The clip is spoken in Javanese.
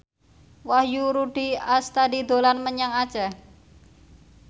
Wahyu Rudi Astadi dolan menyang Aceh